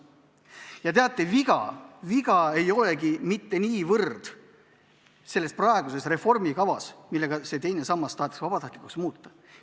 Ja teate, viga ei olegi mitte niivõrd selles praeguses reformikavas, millega teine sammas tahetakse vabatahtlikuks muuta.